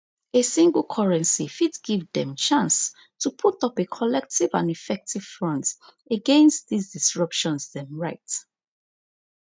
a single currency fit give dem chance to put up a collective and effective front against dis disruptions dem write